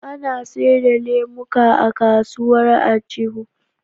Ana seda lemuka a kasuwar aljihu